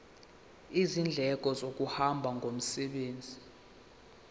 izindleko zokuhamba ngomsebenzi